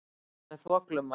Hún er þvoglumælt.